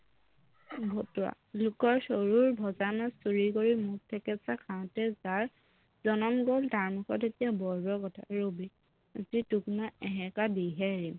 ভতুৱা লোকৰ চৰুৰ ভজা মাছ চুৰি কৰি মুখ থেকেচা খাওতেই যাৰ জনম গল তাৰ মুখত এতিয়া বৰ বৰ কথা ৰবি আজি তোক মই এসেকা দিহে এৰিম